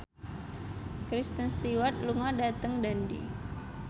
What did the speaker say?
Kristen Stewart lunga dhateng Dundee